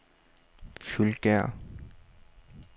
Fløjgærde